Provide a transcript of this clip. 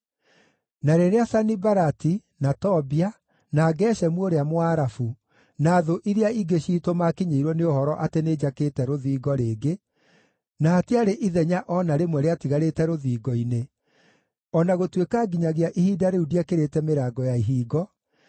Na rĩrĩa Sanibalati, na Tobia, na Geshemu ũrĩa Mũarabu, na thũ iria ingĩ ciitũ maakinyĩirwo nĩ ũhoro atĩ nĩnjakĩte rũthingo rĩngĩ na hatiarĩ ithenya o na rĩmwe rĩatigarĩte rũthingo-inĩ, o na gũtuĩka nginyagia ihinda rĩu ndiekĩrĩte mĩrango ya ihingo,